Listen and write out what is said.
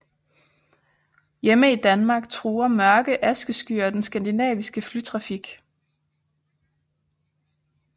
Hjemme i Danmark truer mørke askeskyer den skandinaviske flytrafik